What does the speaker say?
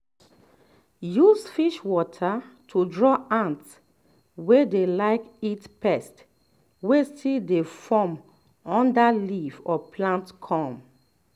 use fish water to draw ants wey dey like eat pest wey still dey form under leaf of plants come